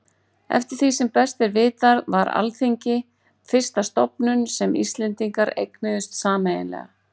Eftir því sem best er vitað var Alþingi fyrsta stofnunin sem Íslendingar eignuðust sameiginlega.